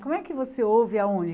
Como é que você ouve aonde?